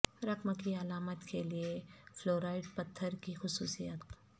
رقم کی علامات کے لئے فلوراائٹ پتھر کی خصوصیات